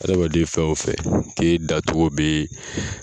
Hadamaden fɛn o fɛn k'e da cogo bɛ